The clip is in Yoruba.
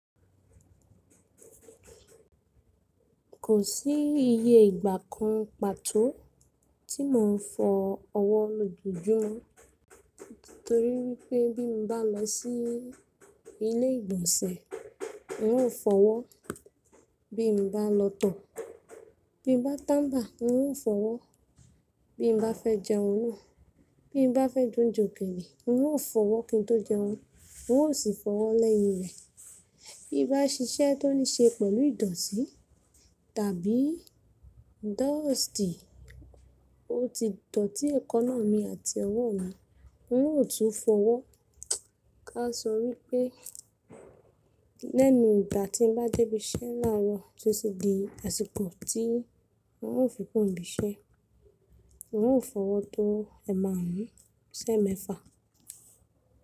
Kò sí iye ìgbà kan pàtó tí mò ń fọ ọwọ́ lojoojumo. Nítorí wípé bí mo bá lọ sí ilé ìgbọ̀nsẹ̀, n ó fọwọ́. Bí mo bá lọ tọ̀, bí mo bá tàba n ó fọwọ́. Bí mo bá fẹ́ jẹun náà, bí mo bá fẹ́ je ounje okele n ó fọwọ́ kí n tó jẹun, n ó sì fọwọ́ lẹ́yin rẹ̀. Bí bá ṣiṣẹ́ tó ní ṣe pẹ̀lú ìdọ̀tí tàbí dọ́ọ̀stì, ó ti dọ̀tí ekaná mi àti ọwọ́ mi, n ó tún fọwọ́. Ká sọ wípé lẹ́nu ìgbà tí n bá débi iṣẹ́ láàrọ̀ tó sì di àsìkò tí n ó fi kúro ni bí iṣẹ́, n ó fọwọ́ tó ẹ márùn ún si emẹ́fà.